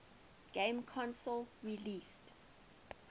game console released